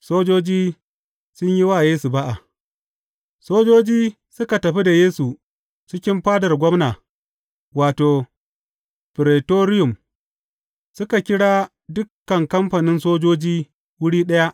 Sojoji sun yi wa Yesu ba’a Sojojin suka tafi da Yesu cikin fadar gwamna wato, Firetoriyum, suka kira dukan kamfanin sojoji wuri ɗaya.